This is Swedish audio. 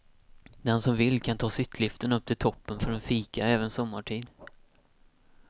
Den som vill kan ta sittliften upp till toppen för en fika även sommartid.